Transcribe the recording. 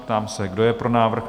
Ptám se, kdo je pro návrh?